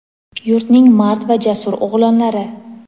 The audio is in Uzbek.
yurtning mard va jasur o‘g‘lonlari!.